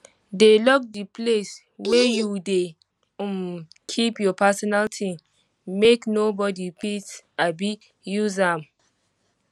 dey lock di place wey you dey um keep your personal ting make nobodi fit um use am um